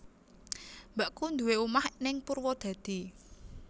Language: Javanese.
Mbakku nduwe omah ning Purwodadi